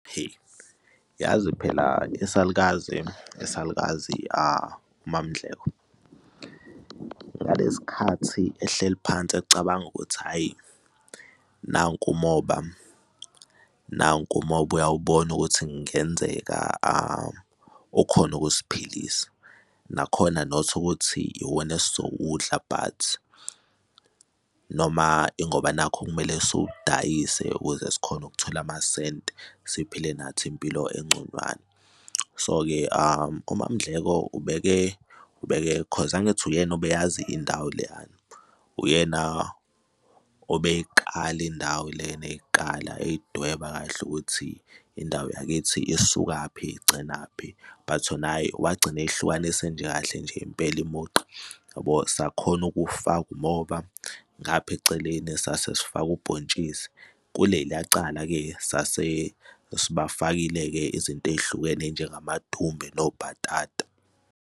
Yazi phela isalukazi, isalukazi uMaMdleko, ngalesi khathi ehleli phansi ecabanga ukuthi hhayi, nanku umoba, nanku umoba uyawubona ukuthi kungenzeka ukhone ukusiphilisa, nakhona not ukuthi iwona esizowudlela but noma ingoba nakho kumele sewudayise ukuze sikhone ukuthola amasenti, siphinde nathi impilo enconywana. So-ke uMaMdleko ubeke, ubeke 'cause angithi uyena obeyazi indawo leyena, uyena obeyiqala indawo lena eyiqala eyidweba kahle ukuthi indawo ykiithi isukaphi igcinaphi but naye wagcina eyihlukanise mje kahle nje impela umugqa yabo sakhona ukuwufaka umoba ngapha eceleni sase sifaka ubhontshisi kuleliya cala-ke sasesibafakile-ke izinto ey'hlukene njengamadumbe nobhatata.